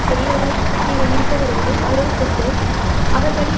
பெரியவராய் இருப்பவரோடு உறவு கொண்டு அவர்வழி